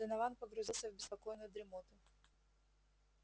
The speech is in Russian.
донован погрузился в беспокойную дремоту